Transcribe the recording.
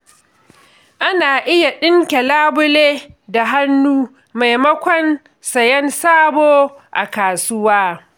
Ana iya ɗinke labule da hannu maimakon sayen sabo a kasuwa.